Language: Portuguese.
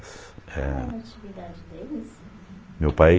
é. Qual a natividade deles? Meu pai